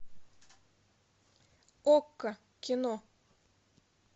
окко кино